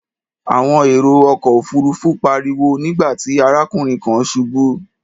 Àwọn èrò ọkọ̀ òfuurufú pariwo nígbà tí arákùnrin kan ṣubú.